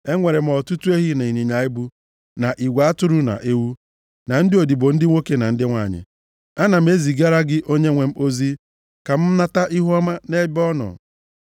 Enwere m ọtụtụ ehi, na ịnyịnya ibu, na igwe atụrụ na ewu, na ndị odibo ndị nwoke na ndị nwanyị. Ana m ezigara onyenwe m ozi a ka m nata ihuọma nʼebe ọ nọ.’ ”